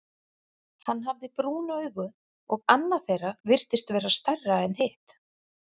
Hann hafði brún augu, og annað þeirra virtist vera stærra en hitt.